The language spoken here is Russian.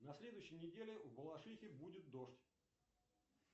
на следующей неделе в балашихе будет дождь